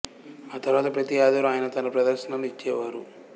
ఆతర్వాత ప్రతి ఆదివారం ఆయన తన ప్రదర్శనలు ఇచ్చే వారు